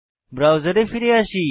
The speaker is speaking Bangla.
ব্রাউজারে ফিরে যাই